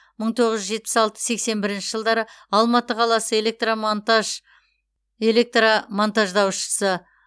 мың тоғыз жүз жетпіс алты сексен бірінші жылдары алматы қаласы электромонтаж электромонтаждаушы